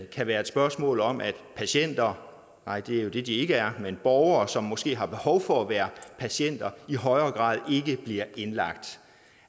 kan være et spørgsmål om at patienter nej det er jo det de ikke er men borgere som måske har behov for at være patienter i højere grad ikke bliver indlagt